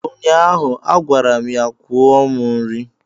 ụnyaahụ, a gwara m ya kwụọ m nri!